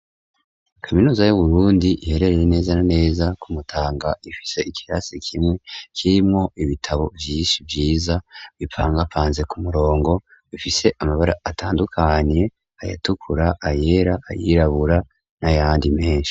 Kaminuza yu Burundi iherereye neza neza kumutanga ifise ikirasi kimwe kirimwo ibitabo vyinshi vyiza bipangapanze ku murongo bifise amabara atandukanye ayatukura, ayera, ayirabura n'ayandi menshi.